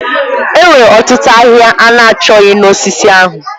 Enwere otutu ahịhịa ana chọghị na osisi ahụ.